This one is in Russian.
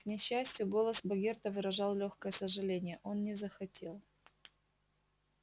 к несчастью голос богерта выражал лёгкое сожаление он не захотел